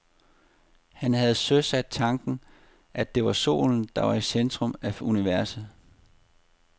Han havde søsat tanken om, at det er solen, der er i centrum af universet.